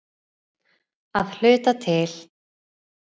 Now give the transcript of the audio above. Að hluta til.